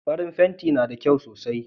Farin fenti na da kyau sosai